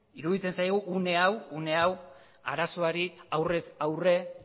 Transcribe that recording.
iruditzen zaigu une hau arazoari aurrez aurre